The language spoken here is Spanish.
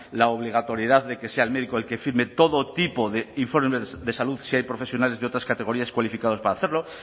la obligatoriedad de que sea el médico el que firme todo tipo de informes de salud si hay profesionales de otras categorías cualificados para hacerlo